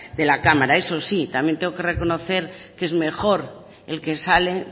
de la cámara eso sí también tengo que reconocer que es mejor el que sale